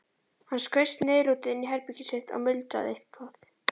Hann skaust niðurlútur inn í herbergið sitt og muldraði eitthvað.